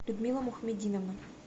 людмила мухамединовна